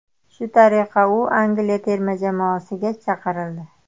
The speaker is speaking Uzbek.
Shu tariqa u Angliya terma jamoasiga chaqirildi.